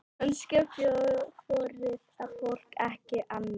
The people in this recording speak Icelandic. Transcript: Kannski þorði fólk ekki annað?